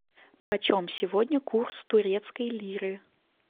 почем сегодня курс турецкой лиры